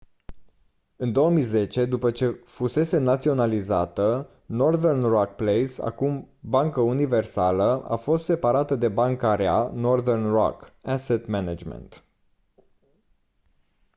în 2010 după ce fusese naționalizată northern rock plc acum bancă universală a fost separată de banca rea” northern rock asset management